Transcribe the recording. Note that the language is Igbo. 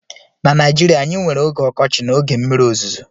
na Naijirịa anyị nwere oge ọkọchị na oge mmiri ozuzo